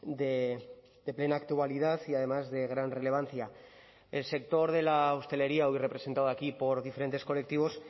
de plena actualidad y además de gran relevancia el sector de la hostelería hoy representado aquí por diferentes colectivos